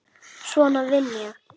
Svona vinn ég.